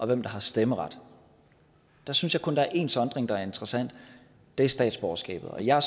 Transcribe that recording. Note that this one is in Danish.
hvem der har stemmeret der synes jeg kun at én sondring er interessant det er statsborgerskabet jeg er